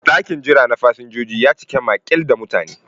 Ɗakin jira na fasinjojin ya cika maƙil da mutane.